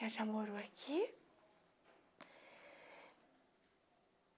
Ela já morou aqui.